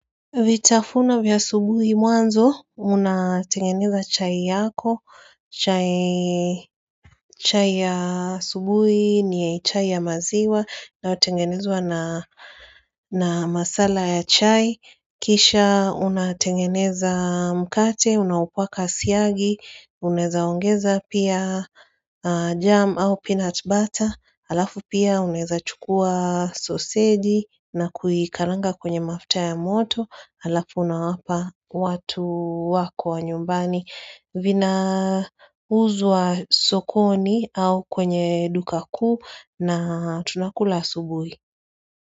Vitafuna vya asubuhi mwanzo, unatengeneza chai yako, chai ya subuhi ni chai ya maziwa inayotengenezwa na masala ya chai, kisha unatengeneza mkate, unapaka siagi, unezaongeza pia jam au peanut butter, alafu pia unezachukua sosei na kuikaranga kwenye mafta ya moto, alafu unawapa watu wako wa nyumbani vina uzwa sokoni au kwenye duka kuu na tunakula subuhi.